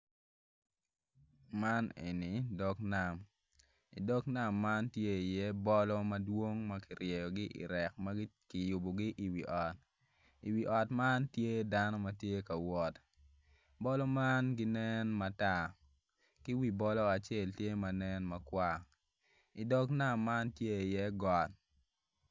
Man enni dog nam i dog nam tye iye bolo madwong ma ki ryeyogi irek ma ki yubugi i wi ot i wi ot man tye dano ma tye ka wot bolo man ginen matar ki wi bolo acel nen makwar i dog nam tye iye got